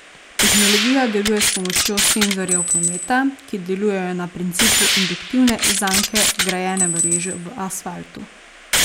Tehnologija deluje s pomočjo senzorjev prometa, ki delujejo na principu induktivne zanke vgrajene v reže v asfaltu.